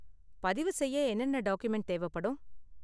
பதிவுசெய்ய என்னென்ன டாக்குமென்ட் தேவைப்படும்?